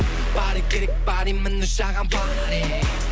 паре керек паре міне саған паре